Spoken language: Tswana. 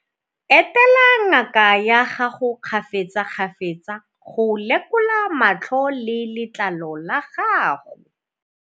Etela ngaka ya gago kgafetsakgafetsa go lekola matlho le letlalo la gago.